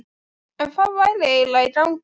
En hvað væri eiginlega í gangi?